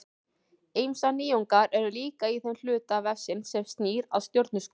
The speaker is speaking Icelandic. Ýmsar nýjungar eru líka í þeim hluta vefsins sem snýr að stjörnuskoðun.